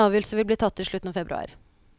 En avgjørelse vil bli tatt i slutten av februar.